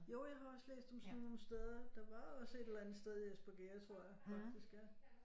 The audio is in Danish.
Jo jeg har også læst om sådan nogle steder der var også et eller andet sted i Espergærde tror jeg faktisk ja